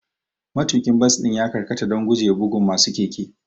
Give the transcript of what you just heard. Matuƙin bas ɗin ya karkata don gujewa bugun masu keke.